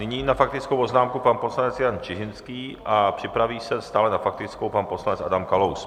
Nyní na faktickou poznámku pan poslanec Jan Čižinský a připraví se stále na faktickou pan poslanec Adam Kalous.